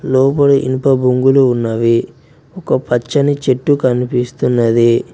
లోపలి ఇనుప బొంగులు ఉన్నవి ఒక పచ్చని చెట్టు కనిపిస్తున్నది.